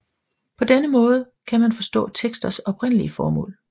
På denne måde kan man forstå teksters oprindelige formål